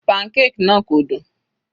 Pancake náà kò dùn.